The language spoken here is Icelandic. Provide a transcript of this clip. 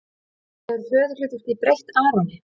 Hefur föðurhlutverkið breytt Aroni?